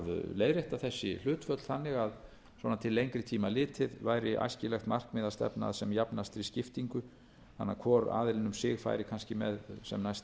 leiðrétta þessi hlutföll þannig að svona til lengri tíma litið væri æskilegt markmið að stefna sem jafnastri skiptingu þannig að hvor aðilinn um sig færi kannski með sem næst